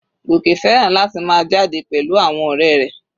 Goke fẹ́ràn láti máa jáde pẹ̀lú àwọn ọ̀rẹ́ rẹ̀.